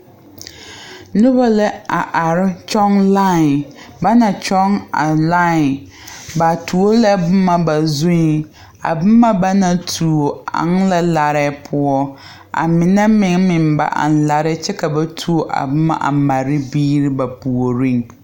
Noba la a are kyɔŋ line ba naŋ kyɔŋ a line ba tuo la boma ba zueŋ a boma ba naŋ tuo eŋ la larɛɛ poɔ a mine meŋ meŋ ba eŋ larɛɛ poɔ kyɛ ka ba tuo a boma a mare biiri ba puoriŋ.